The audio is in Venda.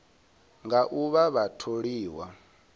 nga u vha vha tholiwa